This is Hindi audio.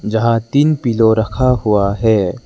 जहां तीन पिलो रखा हुआ है।